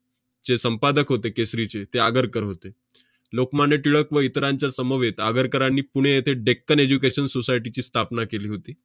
जे संपादक होते केसरीचे, ते आगरकर होते. लोकमान्य टिळक व इतरांच्या समवेत आगरकरांनी पुणे येथे deccan education society ची स्थापना केली होती.